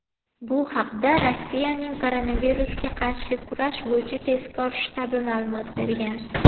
Bu haqda Rossiyaning koronavirusga qarshi kurash bo‘yicha tezkor shtabi ma’lumot bergan.